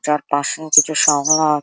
যার পাশে কিছু শাপলার --